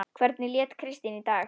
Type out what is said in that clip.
Hvernig lét Kristín í dag?